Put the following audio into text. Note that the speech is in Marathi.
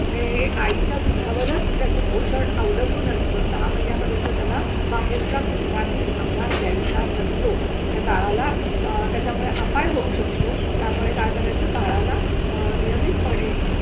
हे आईच्या दुधा वरच त्याचं पोषण अवलंबून असतो. सहा महिन्या पर्यंत त्याला बाहेरचा कुठलाही आहार द्यायचा नसतो त्या बाळाला त्याच्या मुळे अपाय होऊ शकतो. त्यामुळे काय करायच बाळाला नियमितपणे